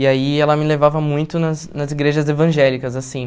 E aí ela me levava muito nas nas igrejas evangélicas, assim.